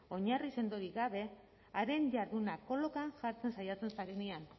oinarri sendorik gabe haren jarduna kolokan jartzen saiatzen zarenean